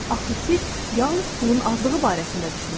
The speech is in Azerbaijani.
Axı siz yalnız pulun azlığı barəsində düşünürsünüz.